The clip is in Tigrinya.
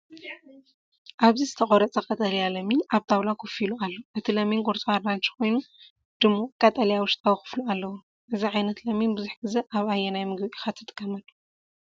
ኣብዚ ዝተቖርጸ ቀጠልያ ለሚን ኣብ ጣውላ ኮፍ ኢሉ ኣሎ። እቲ ለሚን ቅርጹ ኣራንሺ ኮይኑ ድሙቕ ቀጠልያ ውሽጣዊ ክፋሉ ኣለዎ። እዚ ዓይነት ለሚን ብዙሕ ግዜ ኣብ ኣየናይ ምግቢ ኢኻ ትጥቀመሉ?